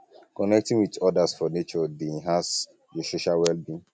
connecting with others for nature dey um enhance your social wellbeing